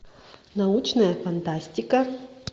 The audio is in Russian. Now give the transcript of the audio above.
научная фантастика